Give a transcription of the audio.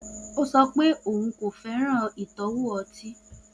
O sọ pe oun ko fẹran itọwo ọti